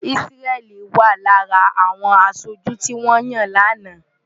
Isreal wà lára àwọn aṣojú tí wọ́n yàn lánàá.